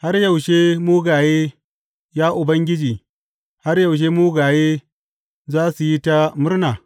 Har yaushe mugaye, ya Ubangiji har yaushe mugaye za su yi ta murna?